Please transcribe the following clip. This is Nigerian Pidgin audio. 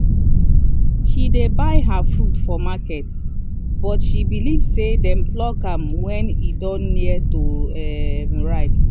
she dey buy her fruit for market because she believe say dem pluck am when e don near to um ripe.